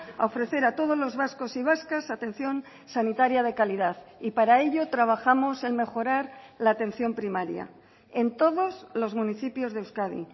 a ofrecer a todos los vascos y vascas atención sanitaria de calidad y para ello trabajamos en mejorar la atención primaria en todos los municipios de euskadi